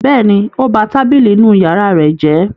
Bẹ́ẹ̀ni, ó ba tábìlì inú ìyàrá rẹ̀ jẹ́.